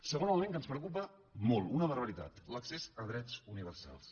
segon element que ens preocupa molt una barbaritat l’accés a drets universals